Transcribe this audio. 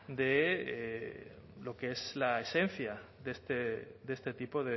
de lo que es la esencia de este tipo